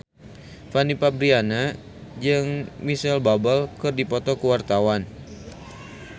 Fanny Fabriana jeung Micheal Bubble keur dipoto ku wartawan